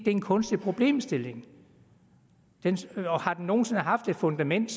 en kunstig problemstilling og har den nogen sinde haft et fundament